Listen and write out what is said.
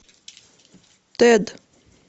тэд